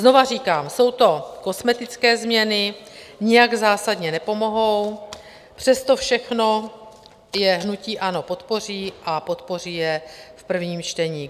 Znovu říkám, jsou to kosmetické změny, nijak zásadně nepomohou, přesto všechno je hnutí ANO podpoří a podpoří je v prvním čtení.